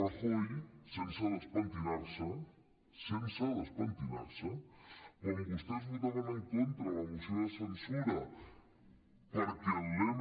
rajoy sense despentinar se sense despentinar se quan vostès votaven en contra de la moció de censura perquè l’m